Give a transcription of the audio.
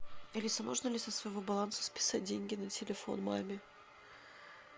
алиса можно ли со своего баланса списать деньги на телефон маме